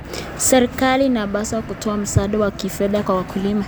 Serikali inapaswa kutoa msaada wa kifedha kwa wakulima.